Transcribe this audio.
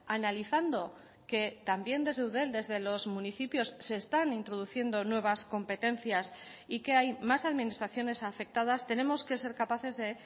analizando que también desde eudel desde los municipios se están introduciendo nuevas competencias y que hay más administraciones afectadas tenemos que ser capaces de